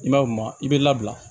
I b'a ye o ma i b'i labila